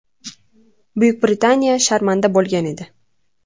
Buyuk Britaniya sharmanda bo‘lgan edi.